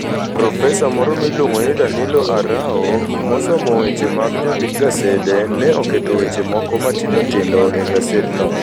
Profesa moro miluongo ni Danilo Arao, mosomo weche mag jondik gasede, ne oketo weche moko matindo tindo e gasedno: